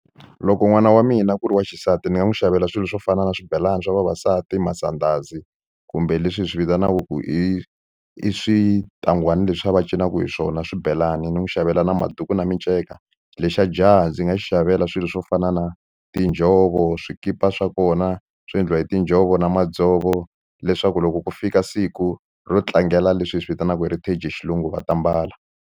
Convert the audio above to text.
Loko n'wana wa mina ku ri wa xisati ni nga n'wi xavela swilo swo fana na swibelani swa vavasati masandhazi kumbe leswi hi swi vitanaka ku i i switangwana leswiya va cinaka hi swona swibelani ni n'wi xavela na maduku na miceka lexa jaha ndzi nga xi xavela swilo swo fana na tinjhovo swikipa swa kona swo endliwa hi tinjhovo na madzovo leswaku loko ku fika siku ro tlangela leswi hi swi vitanaka Heritage xilungu va ta mbala.